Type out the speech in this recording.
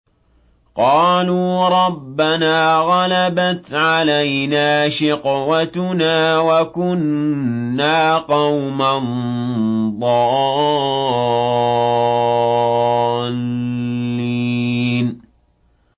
قَالُوا رَبَّنَا غَلَبَتْ عَلَيْنَا شِقْوَتُنَا وَكُنَّا قَوْمًا ضَالِّينَ